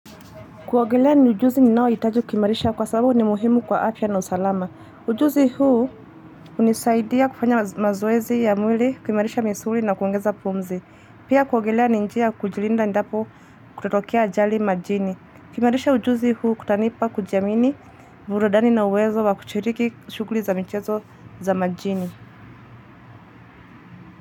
Kuogelea ni ujuzi ninaohitaju kuimarisha kwa sababu ni muhimu kwa afya na usalama. Ujuzi huu hunisaidia kufanya mazoezi ya mwili kuimarisha misuli na kuongeza pumzi. Pia kuogelea ni njia ya kujilinda endapo kutatokea ajali majini. Kuimarisha ujuzi huu kutanipa kujiamini burudani na uwezo wa kushiriki shughuli za michezo za majini.